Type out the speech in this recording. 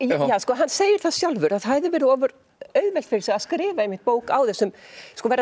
hann segir það sjálfur að það hefði verið ofur auðvelt fyrir sig að skrifa einmitt bók á þessum vera